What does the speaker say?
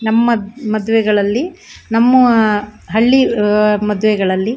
ನಮ್ಮ ಮದ್ವೆಗಳಲ್ಲಿ ನಮ್ಮ ಹಳ್ಳಿ ಅಹ್ ಮದ್ವೆಗಳಲ್ಲಿ --